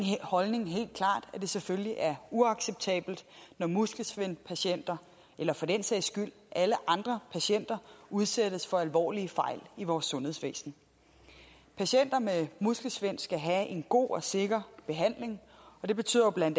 holdning helt klart er at det selvfølgelig er uacceptabelt når muskelsvindpatienter eller for den sags skyld alle andre patienter udsættes for alvorlige fejl i vores sundhedsvæsen patienter med muskelsvind skal have en god og sikker behandling og det betyder bla